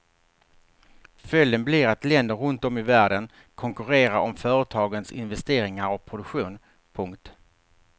Följden blir att länder runt om i världen konkurrerar om företagens investeringar och produktion. punkt